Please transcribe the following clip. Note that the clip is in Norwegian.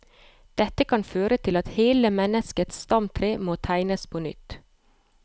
Dette kan føre til at hele menneskets stamtre må tegnes på nytt.